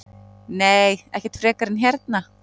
Nei, ekkert frekar en hérna.